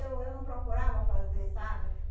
Eu eu não procurava fazer, sabe?